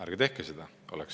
Ärge tehke seda!